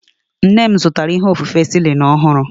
Nne m zụtara onye ofufe Celling ọhụrụ.